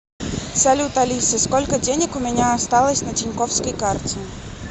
салют алиса сколько денег у меня осталось на тинькоффской карте